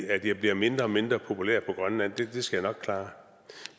at jeg bliver mindre og mindre populær på grønland det skal jeg nok klare